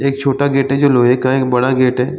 एक छोटा गेट है जो लोहे का है । एक बड़ा गेट है ।